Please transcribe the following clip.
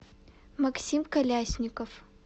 максим колясников